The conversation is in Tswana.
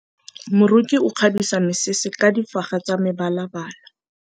Moroki o kgabisa mesese ka difaga tsa mebalabala.